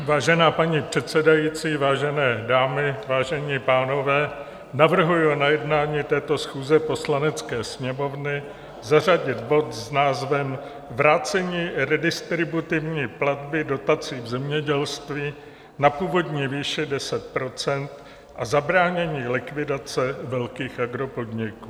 Vážená paní předsedající, vážené dámy, vážení pánové, navrhuji na jednání této schůze Poslanecké sněmovny zařadit bod s názvem Vrácení redistributivní platby dotací v zemědělství na původní výši 10 % a zabránění likvidace velkých agropodniků.